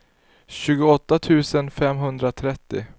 tjugoåtta tusen femhundratrettio